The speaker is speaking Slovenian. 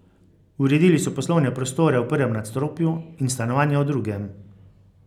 Uredili so poslovne prostore v prvem nadstropju in stanovanja v drugem.